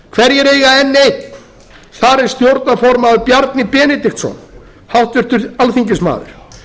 hverjir eiga n eitt þar er stjórnarformaður bjarni benediktsson háttvirtur alþingismaður